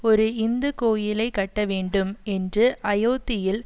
ஒரு இந்து கோயிலை கட்டவேண்டும் என்று அயோத்தியில்